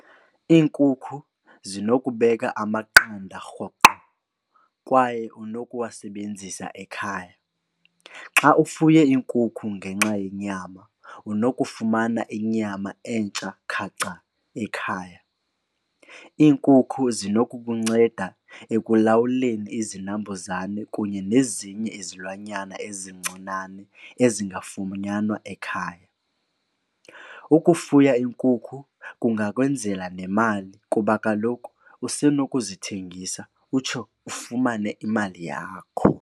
Iinkukhu zinokubeka amaqanda rhoqo kwaye unokuwasebenzisa ekhaya. Xa ufuye iinkukhu ngenxa yenyama unokufumana inyama entsha khacha ekhaya. Iinkukhu zinokukunceda ekulawuleni izinambuzane kunye nezinye izilwanyana ezincinane ezingafunyanwa ekhaya. Ukufuya iinkukhu kungakwenzela nemali kuba kaloku usenokuzithengisa utsho ufumane imali yakho.